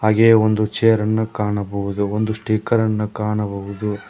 ಹಾಗೆ ಒಂದು ಚೇರನ್ನು ಕಾಣಬಹುದು ಒಂದು ಸ್ಟಿಕ್ಕರ್ ಅನ್ನು ಕಾಣಬಹುದು.